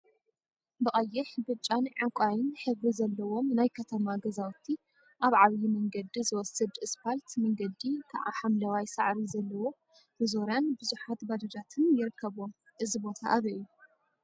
ብቀይሕ፣ ብጫን ዕንቋይን ሕብሪ ዘለዎም ናይ ከተማ ገዛውቲ አብ ዓብይ መንገዲ ዝወስድ እስፓልት መንገዲ ከዓ ሓምለዋይ ሳዕሪ ዘለዎ መዞርያን ቡዙሓት ባጃጃትን ይርከቡዎም፡፡ እዚ ቦታ አበይ እዩ?